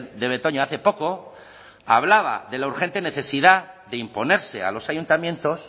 de betoño hace poco hablaba de la urgente necesidad de imponerse a los ayuntamientos